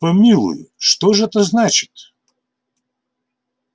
помилуй что ж это значит